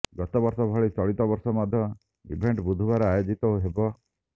ଗତ ବର୍ଷ ଭଳି ଚଳିତ ବର୍ଷ ମଧ୍ୟ ଇଭେଣ୍ଟ ବୁଧବାର ଆୟୋଜିତ ହେବ